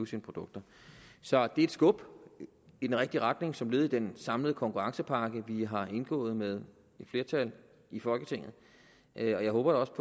sine produkter så det er et skub i den rigtige retning som led i den en samlet konkurrencepakke vi har indgået med et flertal i folketinget og jeg håber også